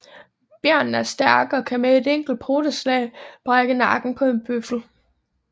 Bjørnen er stærk og kan med et enkelt poteslag brække nakken på en bøffel